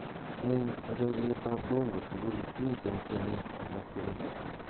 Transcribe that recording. en ureryet ab bango tugul miten tienik alaktugul ii